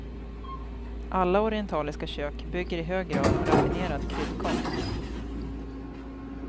Alla orientaliska kök bygger i hög grad på raffinerad kryddkonst.